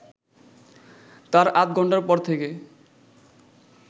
তার আধঘন্টার পর থেকে